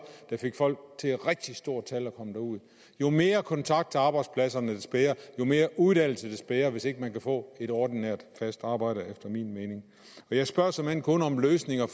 der fik folk til i rigtig stort tal at komme derud jo mere kontakt til arbejdspladserne des bedre og jo mere uddannelse des bedre hvis ikke man kan få et ordinært fast arbejde efter min mening jeg spørger såmænd kun om løsninger